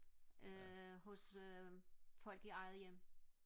øh hos øh folk i eget hjem